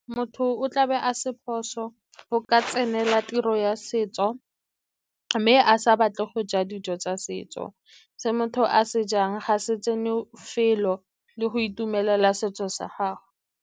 Motho o tla be a se phoso go ka tsenela tiro ya setso, mme a sa batle go ja dijo tsa setso. Se motho a se jang ga se tsene felo le go itumelela setso sa gago.